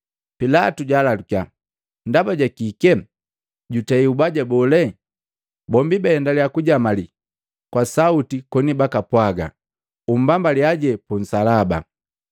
Pilatu jwaalalukia, “Ndaba ja kike? Jutei ubaja bole?” Bombi baendalia kujamali kwa sauti koni bakapwaga, “Umbambalia punsalaba!”